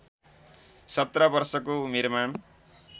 १७ वर्षको उमेरमा